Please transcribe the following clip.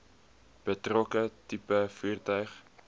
betrokke tipe voertuig